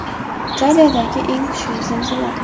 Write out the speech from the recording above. Italiyadagi eng kuchli zilzila.